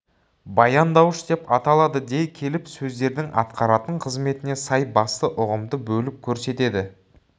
баяндауыш деп аталады дей келіп сөздердің атқаратын қызметіне сай басты ұғымды бөліп көрсетеді